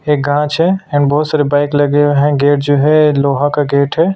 ये कांच है यहाँ बहुत सारे बाइक लगे हुए हैं गेट जो है लोहा का गेट है।